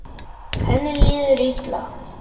Henni líður illa.